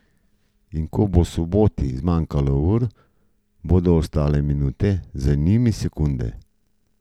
In ko bo soboti zmanjkalo ur, bodo ostale minute, za njimi sekunde.